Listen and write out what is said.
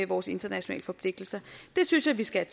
vores internationale forpligtelser det synes jeg vi skal